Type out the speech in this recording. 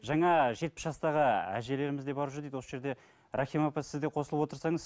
жаңа жетпіс жастағы әжелеріміз де барып жүр дейді осы жерде рахима апай сіз де қосылып отырсаңыз